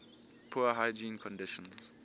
poor hygiene conditions